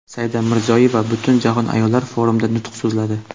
Saida Mirziyoyeva Butunjahon ayollar forumida nutq so‘zladi.